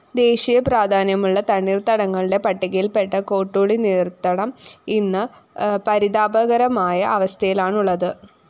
ദേശീയപ്രാധാന്യമുള്ള തണ്ണീര്‍ത്തടങ്ങളുടെ പട്ടികയില്‍പ്പെട്ട കോട്ടൂളി നീര്‍ത്തടം ഇന്ന് പരിതാപകരമായ അവസ്ഥയിലാണുള്ളത്